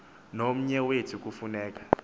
nomnye wethu kufuneka